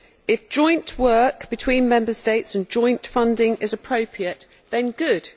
If joint work between Member States and joint funding is appropriate, then good.